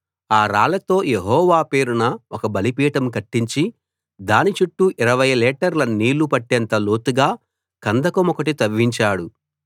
ఆ రాళ్లతో యెహోవా పేరున ఒక బలిపీఠం కట్టించి దాని చుట్టూ 20 లీటర్ల నీళ్ళు పట్టేంత లోతుగా కందకమొకటి తవ్వించాడు